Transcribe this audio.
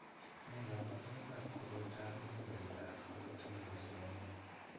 Nee kabarunoikab koroitoab muguleldoab eut nebo Slovenia?